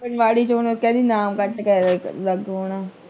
ਆਂਗਣਵਾੜੀ ਚ ਓਹਨੂੰ ਕਹਿ ਦੀ ਨਾਮ ਕੱਟ ਕਰ ਲਾਗੋਂ ਆਉਣਾ।